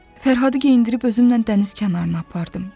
Fərhadı geyindirib özümlə dəniz kənarına apardım.